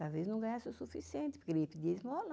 Talvez não ganhasse o suficiente, porque ele ia pedir esmola.